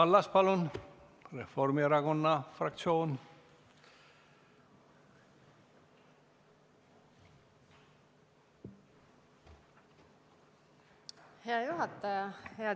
Kaja Kallas Reformierakonna fraktsiooni nimel, palun!